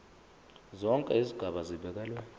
zonke izigaba zibekelwe